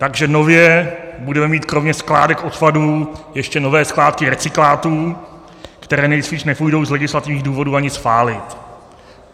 Takže nově budeme mít kromě skládek odpadů ještě nové skládky recyklátů, které nejspíš nepůjdou z legislativních důvodů ani spálit.